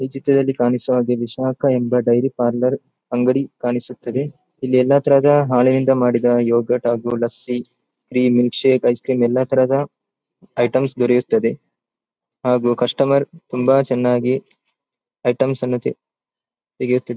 ಈ ಚಿತ್ರದಲ್ಲಿ ಕಾಣಿಸುವ ಹಾಗೆ ವಿಷಾಕ ಎಂಬ ಡೈರಿ ಪಾರ್ಲರ್ ಅಂಗಡಿ ಕಾಣಿಸುತದ್ದೆಇಲ್ಲಿ ಎಲ್ಲತರದ ಹಾಲಿನಿಂದ ಮಾಡಿದ ಯೋಗರ್ಟ್ ಹಾಗು lassi cream milk shake ice cream ಎಲ್ಲತರಹದ ಐಟಮ್ಸ್ ದೊರೆಯುತ್ತದ್ದೆ ಹಾಗು ಕಸ್ಟಮರ್ ತುಂಬಾ ಚೆನ್ನಾಗಿ ಐಟಮ್ಸ್ ಅನ್ನು ತೇ ತೆಗೆಯುತ್ತಿದ್.